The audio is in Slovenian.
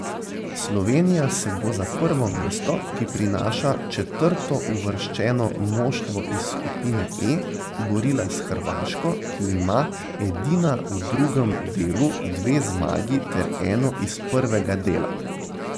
Slovenija se bo za prvo mesto, ki prinaša četrtouvrščeno moštvo iz skupine E, borila s Hrvaško, ki ima edina v drugem delu dve zmagi ter eno iz prvega dela.